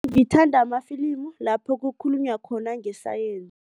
Ngithanda khulu amafilimi lapho kukhulunywa khona khulu ngesayensi.